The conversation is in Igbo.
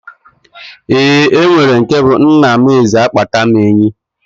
Eeǃ Onwere nke bụ Nna m Eze a kpata m enyi.